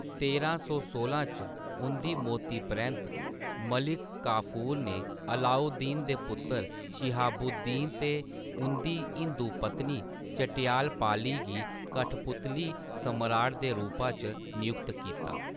तेरां सौ सोलां च उं'दी मौती परैंत्त, मलिक काफूर ने अलाउद्दीन दे पुत्तर, शिहाबुद्दीन ते उं'दी हिंदू पत्नी, झट्यपाली गी कठपुतली सम्राट दे रूपा च नियुक्त कीता।